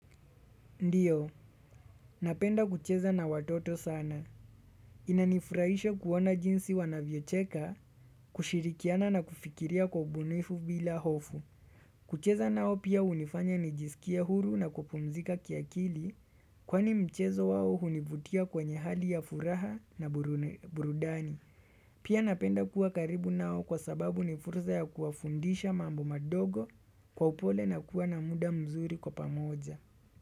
Ndiyo, napenda kucheza na watoto sana. Inanifuraisha kuona jinsi wanavyocheka, kushirikiana na kufikiria kwa ubunifu bila hofu. Kucheza nao pia hunifanya nijisikie huru na kupumzika kiakili, kwani mchezo wao hunivutia kwenye hali ya furaha na burudani. Pia napenda kuwa karibu nao kwa sababu nifursa ya kuwafundisha mambo madogo kwa upole na kuwa na muda mzuri kwa pamoja.